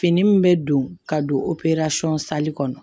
Fini min bɛ don ka don kɔnɔ